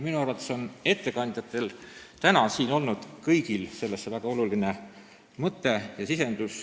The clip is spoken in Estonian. Minu arvates oli kõigil tänastel ettekandjatel sellesse lisada väga olulisi mõtteid ja sisendeid.